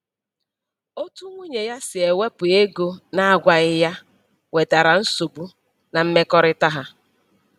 Otu nwunye ya si ewepụ ego na-agwaghị ya wetara nsogbu na mmekọrịta ha